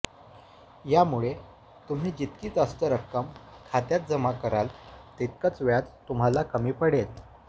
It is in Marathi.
यामुळे तुम्ही जितकी जास्त रक्कम खात्यात जमा कराल तितकंच व्याज तुम्हाला कमी पडेल